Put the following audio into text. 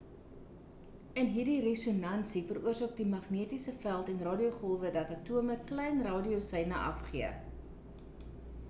in hierdie resonansie veroorsaak die magnetiese veld en radiogolwe dat atome klein radioseine afgee